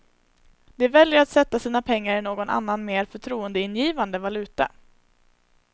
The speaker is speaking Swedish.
De väljer att sätta sina pengar i någon annan mer förtroendeingivande valuta.